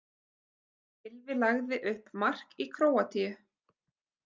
Gylfi lagði upp mark í Króatíu